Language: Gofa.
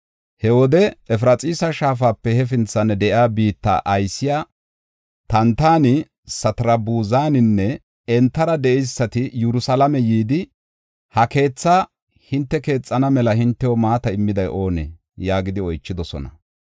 He wode Efraxiisa Shaafape hefinthan de7iya biitta aysiya Tantani, Satarbuzaninne entara de7eysati Yerusalaame yidi, “Ha keetha hinte keexana mala hintew maata immiday oonee?” yaagidi oychidosona.